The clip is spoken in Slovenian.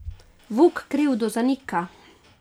Vuk krivdo zanika.